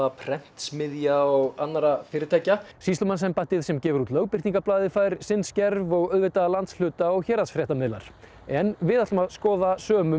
prentsmiðja og annarra fyrirtækja sýslumannsembættið sem gefur út Lögbirtingablaðið fær sinn skerf og auðvitað landshluta og héraðsfréttamiðlar en við ætlum að skoða sömu